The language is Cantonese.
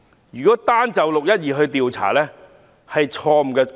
如果單就"六一二"事件進行調查，是錯誤的要求。